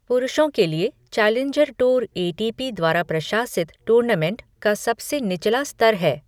पुरुषों के लिए challenger tour A T P द्वारा प्रशासित टूर्नामेंट का सबसे निचला स्तर है।